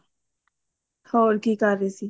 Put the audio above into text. ਹੋਰ ਕੀ ਕਰ ਰਹੀ ਸੀ